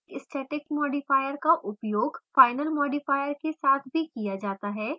static modifier का उपयोग final modifier के साथ भी किया जाता है